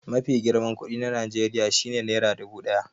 Mafi girman kuɗi na Najeriya shi ne nera dubu ɗaya.